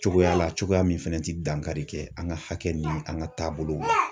Cogoya la cogoya min fɛnɛ ti dankari kɛ an ka hakɛ ɲini an ka taabolo